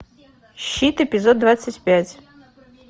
щит эпизод двадцать пять